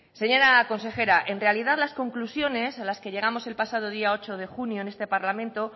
señora consejera en realidad las conclusiones a las que llegamos el pasado día ocho de junio en este parlamento